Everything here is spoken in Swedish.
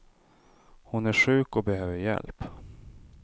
Hon är sjuk och behöver hjälp.